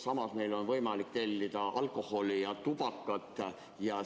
Samas on meil võimalik tellida alkoholi ja tubakat.